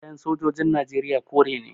Kayan sojojin najeriya kore ne